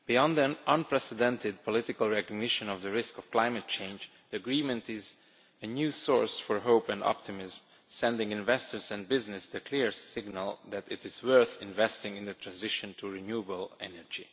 An unprecedented political recognition of the risk of climate change, the agreement is a new source of hope and optimism, sending investors and business a clear signal that it is worth investing in the transition to renewable energy.